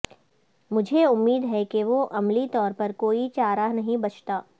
مجھے امید ہے کہ وہ عملی طور پر کوئی چارہ نہیں بچتا